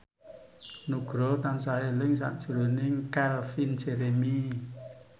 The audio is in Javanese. Nugroho tansah eling sakjroning Calvin Jeremy